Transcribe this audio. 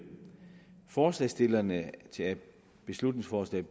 forslagsstillerne til beslutningsforslag